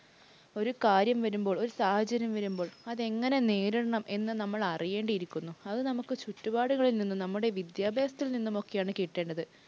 ഒരു കാര്യം വരുമ്പോൾ, ഒരു സാഹചര്യം വരുമ്പോൾ അതെങ്ങനെ നേരിടണം എന്ന് നമ്മൾ അറിയേണ്ടിയിരിക്കുന്നു. അത് നമുക്ക് ചുറ്റുപാടുകളിൽ നിന്നും, നമ്മുടെ വിദ്യാഭ്യാസത്തിൽ നിന്നുമൊക്കെയാണ് കിട്ടേണ്ടത്.